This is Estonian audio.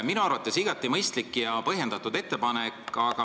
Minu arvates on see igati mõistlik ja põhjendatud ettepanek.